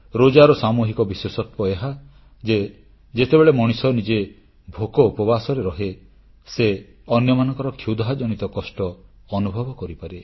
ରୋଜାର ସାମୂହିକ ବିଶେଷତ୍ୱ ଏହା ଯେ ଯେତେବେଳେ ମଣିଷ ନିଜେ ଭୋକ ଉପବାସରେ ରହେ ସେ ଅନ୍ୟମାନଙ୍କର କ୍ଷୁଧାଜନିତ କଷ୍ଟ ଅନୁଭବ କରିପାରେ